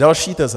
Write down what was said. Další teze.